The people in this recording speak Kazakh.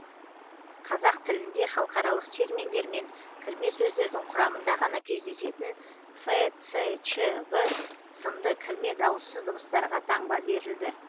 қазақ тілінде халықаралық терминдер мен кірме сөздердің құрамында ғана кездесетін ф ц ч в сынды кірме дауыссыз дыбыстарға таңба берілді